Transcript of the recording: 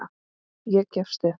Ég gefst upp